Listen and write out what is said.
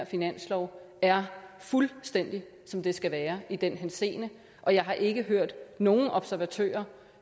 finanslov er fuldstændig som det skal være i den henseende og jeg har ikke hørt nogen observatører